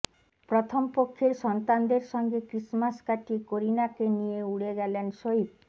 প্রথম পক্ষের সন্তানদের সঙ্গে ক্রিসমাস কাটিয়ে করিনাকে নিয়ে উড়ে গেলেন সইফ